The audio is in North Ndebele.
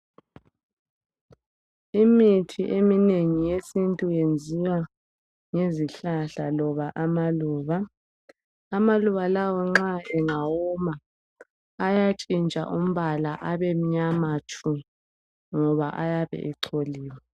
Imithi eminengi yesintu yenziwa ngezihlahla loba amaluba. Amaluba lawa nxa engawoma ayatshintsha umbala abemnyama tshu ngoba ayabe echoliwe.